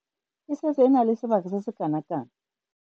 E setse e na le sebaka se se kanakang.